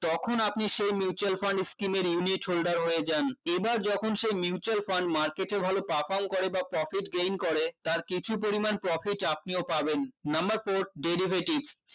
তখন আপনি সেই Mutual Fund skim এর unit holder হয়ে যান এবার যখন সে Mutual Fund Market এ ভালো perform করে বা profit gain করে তার কিছু পরিমান profit আপনিও পাবেন number four derivatives